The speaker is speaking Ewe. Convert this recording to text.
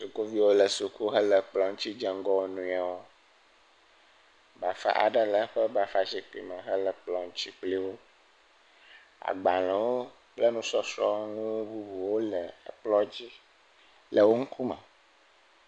sukuviwo le kplɔ̃ ŋtsi dze ŋgɔ woniawo bafa aɖe le eƒe bafa zikpi me hele kplɔ̃ ŋtsi kpliwo agbalēwo kple nusɔsrɔnu bubuwo le ekplɔ̃ dzi le wó ŋkume